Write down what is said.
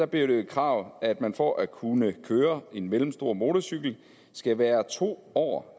blev det jo et krav at man for at kunne køre mellemstor motorcykel skal være to år